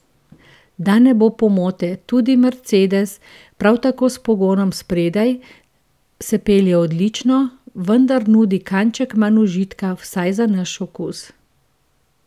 Da ne bo pomote, tudi mercedes, prav tako s pogonom spredaj, se pelje odlično, vendar nudi kanček manj užitka, vsaj za naš okus.